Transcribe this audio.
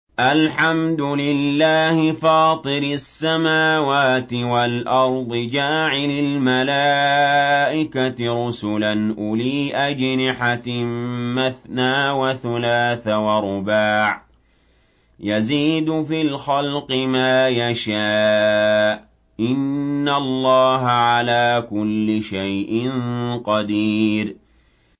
الْحَمْدُ لِلَّهِ فَاطِرِ السَّمَاوَاتِ وَالْأَرْضِ جَاعِلِ الْمَلَائِكَةِ رُسُلًا أُولِي أَجْنِحَةٍ مَّثْنَىٰ وَثُلَاثَ وَرُبَاعَ ۚ يَزِيدُ فِي الْخَلْقِ مَا يَشَاءُ ۚ إِنَّ اللَّهَ عَلَىٰ كُلِّ شَيْءٍ قَدِيرٌ